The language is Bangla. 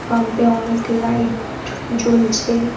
পাম্প -এ অনেক লাইট জ্বলছে।